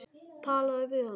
Talaðu við hana.